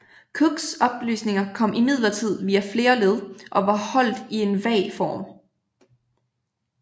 Cooks oplysninger kom imidlertid via flere led og var holdt i en vag form